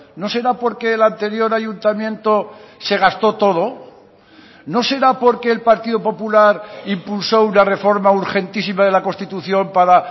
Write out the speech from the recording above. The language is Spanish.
no será porque el anterior ayuntamiento se gastó todo no será porque el partido popular impulsó una reforma urgentísima de la constitución para